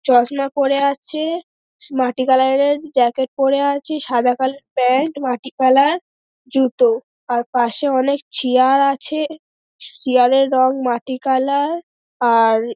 চশমা পরে আছে মাটি কালার -এর জ্যাকেট পরে আছে সাদা কালার -এর প্যান্ট মাটি কালার জুতো আর পাশে অনেক চেয়ার আছে চেয়ার -এর রং মাটি কালার আর --